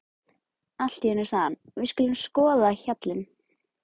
Allt í einu sagði hann: Við skulum skoða hjallinn.